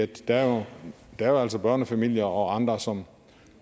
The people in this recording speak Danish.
der er jo altså børnefamilier og andre som